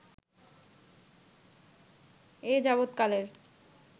এ যাবৎকালের